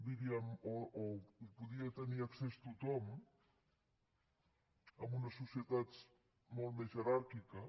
diríem o no hi podia tenir accés tothom en unes societats molt més jeràrquiques